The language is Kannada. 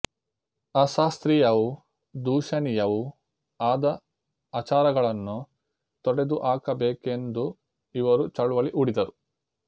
ಅಶಾಸ್ತ್ರೀಯವೂ ದೂಷಣೀಯವೂ ಆದ ಆಚಾರಗಳನ್ನು ತೊಡೆದುಹಾಕಬೇಕೆಂದು ಇವರು ಚಳುವಳಿ ಹೂಡಿದರು